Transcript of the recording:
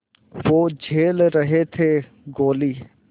वो झेल रहे थे गोली